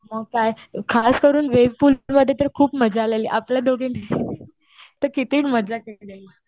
मग काय. खासकरून वे पूल मध्ये तर खूप मजा आलेली. आपल्या दोघींची तर किती मजा केली आपण.